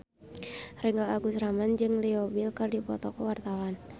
Ringgo Agus Rahman jeung Leo Bill keur dipoto ku wartawan